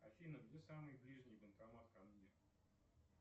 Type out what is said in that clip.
афина где самый ближний банкомат ко мне